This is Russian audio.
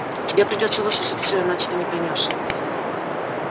тебе придётся выслушать все иначе ты не поймёшь